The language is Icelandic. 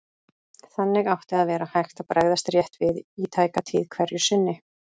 Þannig átti að vera hægt að bregðast rétt við í tæka tíð hverju sinni.